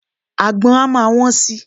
Àgbon á máa wón si.